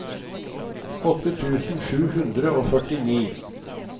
åtte tusen sju hundre og førtini